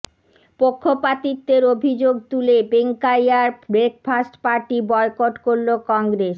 পক্ষপাতিত্বের অভিযোগ তুলে বেঙ্কাইয়ার ব্রেকফাস্ট পার্টি বয়কট করল কংগ্রেস